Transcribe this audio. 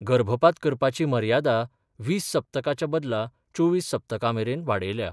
गर्भपात करपाची मर्यादा वीस सप्तकाच्या बदला चोवीस सप्तका मेरेन वाडयल्या.